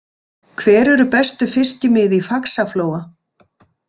Hver eru bestu fiskimið í Faxaflóa?